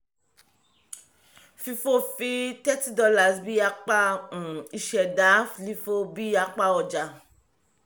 fifo fi thirty dollars bí apá um ìṣẹ̀dá lifo bí apá ọjà